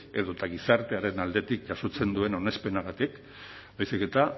edota gizartearen aldetik jasotzen duen onespenarengatik baizik eta